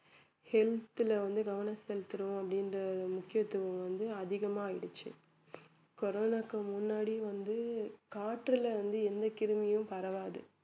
health ல வந்து கவனம் செலுத்தணும் அப்படின்ற முக்கியத்துவம் வந்து அதிகமா ஆயிடுச்சு கொரோனாவுக்கு முன்னாடி வந்து காற்றில இருந்து எந்த கிருமியும் பரவாது